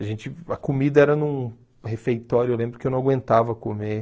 A gente a comida era num refeitório, eu lembro que eu não aguentava comer.